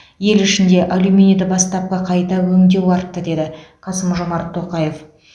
ел ішінде алюминийді бастапқы қайта өңдеу артты деді қасым жомарт тоқаев